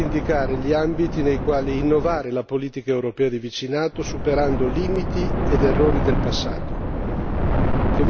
e soprattutto cerca di indicare gli ambiti nei quali innovare la politica europea di vicinato, superando limiti ed errori del passato.